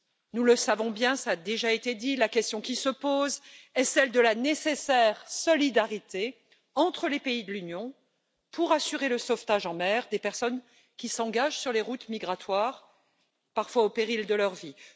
Nous le savons bien, cela a déjà été dit, la question qui se pose est celle de la nécessaire solidarité entre les pays de l'Union pour assurer le sauvetage en mer des personnes qui s'engagent sur les routes migratoires, parfois au péril de leur vie.